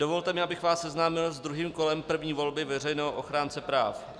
Dovolte mi, abych vás seznámil s druhým kolem první volby veřejného ochránce práv.